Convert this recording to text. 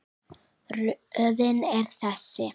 Röðin er þessi